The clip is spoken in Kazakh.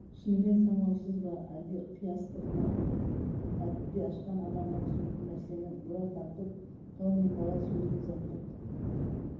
шынымен саңлаусыз ба әлде қиястығы ма әліппе ашқан адамға түсінікті нәрсені бұра тартып тау мен дала сөзін заттық